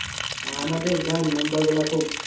গ্রামে member গুলো খুব